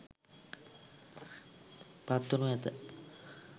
පත්වනු ඇත.